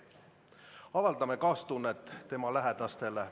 Avaldame kaastunnet tema lähedastele.